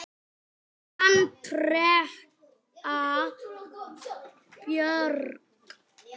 Þín Andrea Björk.